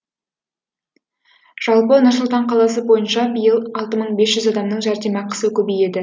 жалпы нұр сұлтан қаласы бойынша биыл алты мың бес жүз адамның жәрдемақысы көбейеді